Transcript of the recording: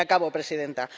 Y acabo, presidenta.